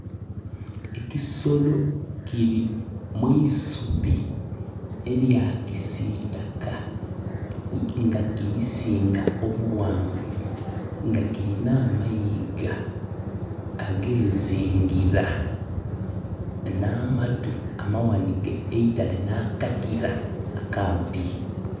Ekisolo kiri mwisubi erya kisitaka nga kirisinga obuwanvu nga kirina amayiga agezingira na matu amawanike eitale na kakira akampi